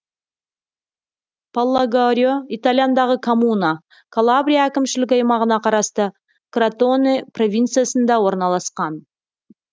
паллагорио италиядағы коммуна калабрия әкімшілік аймағына қарасты кротоне провинциясында орналасқан